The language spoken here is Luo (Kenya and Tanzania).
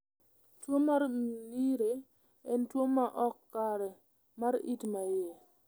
Tuo mar Mnire en tuwo ma ok kare mar it ma iye.